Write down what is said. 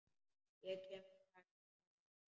Ég kem strax- svaraði Smári.